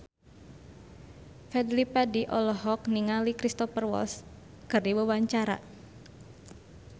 Fadly Padi olohok ningali Cristhoper Waltz keur diwawancara